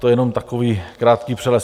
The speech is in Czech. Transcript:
To jenom takový krátký přehled.